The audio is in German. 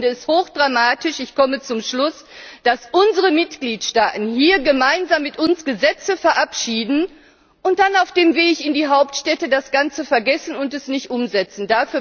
Aber ich finde es hochdramatisch, dass unsere Mitgliedstaaten hier gemeinsam mit uns Gesetze verabschieden und dann auf dem Weg in die Hauptstädte das Ganze vergessen und es nicht umsetzen.